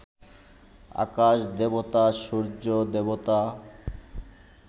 আকাশ দেবতা, সূর্য্য দেবতা